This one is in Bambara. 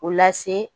O lase